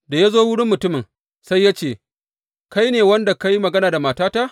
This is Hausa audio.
Da ya zo wurin mutumin, sai ya ce, Kai ne wanda ka yi magana da matata?